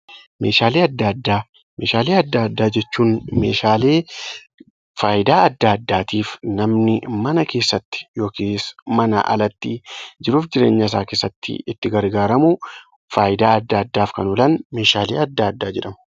Meeshaalee adda addaa Meeshaalee adda addaa jechuun meeshaalee faayidaa adda addaatiif namni mana keessatti yookiis manaa alatti jiruu fi jireenya isaa keessatti itti gargaaramu faayidaa adda addaaf kan oolan meeshaalee adda addaa jedhamu